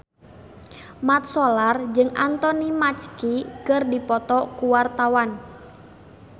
Mat Solar jeung Anthony Mackie keur dipoto ku wartawan